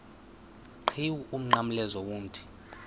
qhiwu umnqamlezo womthi